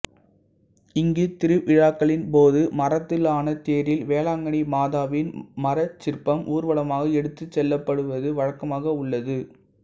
இங்கு திருவிழாக்களின் போது மரத்தாலான தேரில் வேளாங்கன்னி மாதாவின் மரச் சிற்பம் ஊர்வலமாக எடுத்துச் செல்லப்படுவது வழக்கமாக உள்ளது